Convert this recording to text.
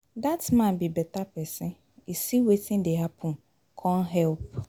Dat man be beta person, he see wetin dey happen come help.